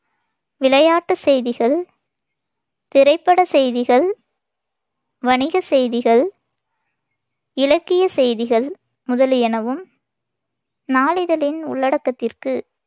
விளையாட்டுச் செய்திகள், திரைப்படச் செய்திகள், வணிகச் செய்திகள், இலக்கிய செய்திகள் முதலியனவும் நாளிதழின் உள்ளடக்கத்திற்கு